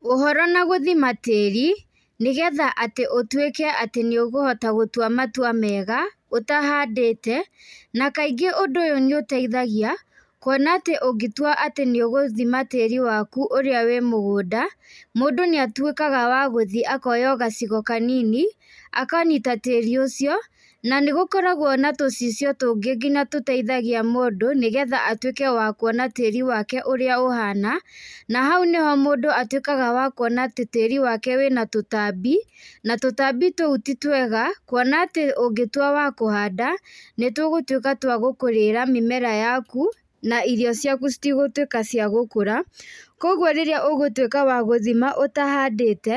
Ũhoro na gũthima tĩĩri nĩgetha atĩ ũtuĩke atĩ nĩũkũhota gũtua matua mega ũtahandĩte, na kaingĩ ũndũ ũyũ nĩ ũteithagia kuona atĩ ũngĩtua atĩ nĩ ũgũthima tĩĩri waku ũrĩa wĩ mũgũnda, mũndũ nĩ atuĩkaga wa gũthiĩ akoya o gacigo kanini akanyita tĩĩri ũcio. Na nĩgũkoragwo na tũcicio tũngĩ nginya tũteithagia mũndũ nĩgetha atuĩke wa kuona tĩĩri wake ũrĩa ũhana. Na hau nĩho mũndũ atuĩkaga wa kuona atĩ tĩĩri wake wĩna tũtambi, na tũtambi tũu ti twega, kuona atĩ ũngĩtua wa kũhanda, nĩ tũgũtuĩka twa gũkũrĩra mĩmera yaku na irio ciaku citigũtuĩka cia gũkũra. Kwoguo rĩrĩa ũgũtuĩka wa gũthima ũtahandĩte